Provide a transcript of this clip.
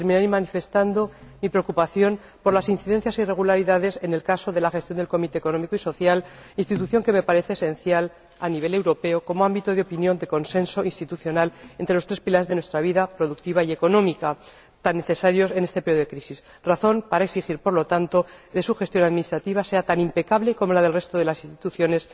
Terminaré manifestando mi preocupación por las incidencias e irregularidades observadas en la gestión del Comité Económico y Social Europeo, institución que me parece esencial a nivel europeo, como ámbito de opinión de consenso institucional entre los tres pilares de nuestra vida productiva y económica, tan necesarios en este periodo de crisis, razón esta suficiente para exigir por lo tanto que su gestión administrativa sea tan impecable como la del resto de las instituciones.